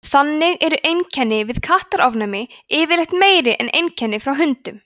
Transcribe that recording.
þannig eru einkenni við kattaofnæmi yfirleitt meiri en einkenni frá hundum